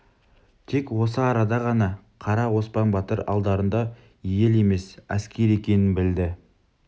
тек осы арада ғана қара оспан батыр алдарында ел емес әскер екенін білді